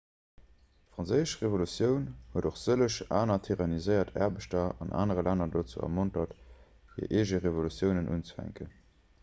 d'franséisch revolutioun huet och sëlleg aner tyranniséiert aarbechter an anere länner dozou ermontert hir eege revolutiounen unzefänken